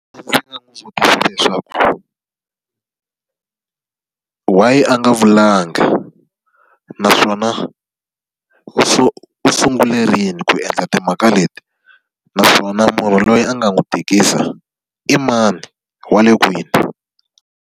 Ndzi nga n'wi vutisa leswaku why a nga vulanga? Naswona u u sungule rini ku endla timhaka leti? Naswona munhu loyi a nga n'wi tikisa i mani, wa le kwini?